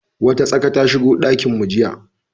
Wata tsaka ta shigo dakinmu jiya.